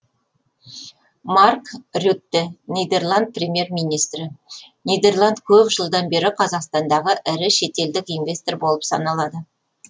марк рютте нидерланд премьер министрі нидерланд көп жылдан бері қазақстандағы ірі шетелдік инвестор болып саналады